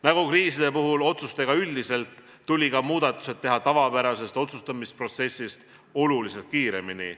Nagu kriiside puhul otsustega üldiselt, tuli ka muudatused teha tavapärasest otsustusprotsessist olulisemalt kiiremini.